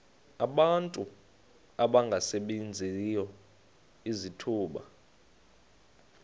abantu abangasebenziyo izithuba